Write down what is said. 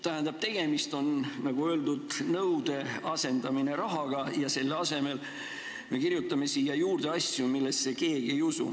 Tähendab, tegemist on, nagu öeldud, sellega, et nõue asendatakse rahaga, aga selle asemel me kirjutame siia sisse asju, mida keegi ei usu.